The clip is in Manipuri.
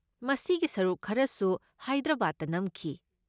ꯃꯁꯤꯒꯤ ꯁꯔꯨꯛ ꯈꯔꯁꯨ ꯍꯥꯏꯗ꯭ꯔꯕꯥꯗꯇ ꯅꯝꯈꯤ꯫